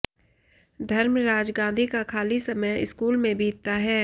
धर्मराज गांधी का खाली समय स्कूल में बीतता है